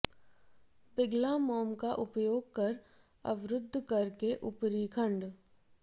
पिघला मोम का उपयोग कर अवरुद्ध कर के ऊपरी खंड